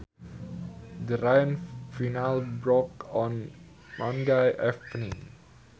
The rain finally broke on Monday evening